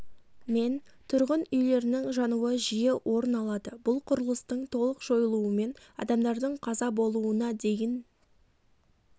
мен тұрғын үйлерінің жануы жиі орын алады бұл құрылыстың толық жойылуымен адамдардың қаза болуына дейін